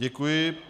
Děkuji.